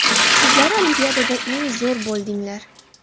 Sizlar Olimpiadada eng zo‘r bo‘ldinglar.